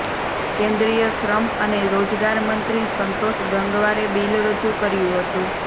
કેન્દ્રીય શ્રમ અને રોજગાર મંત્રી સંતોષ ગંગવારે બિલ રજૂ કર્યું હતું